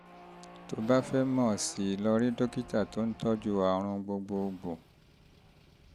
tó o bá fẹ́ mọ̀ sí i lọ rí dókítà tó ń tọ́jú àrùn gbogbogbò